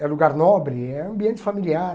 É lugar nobre, é ambiente familiar.